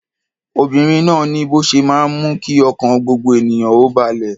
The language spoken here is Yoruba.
Obìnrin náà ni bó ṣe máa ń mú kí ọkàn gbogbo ènìyàn ó balẹ̀.